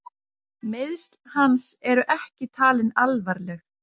Meiðsl hans eru ekki talin alvarleg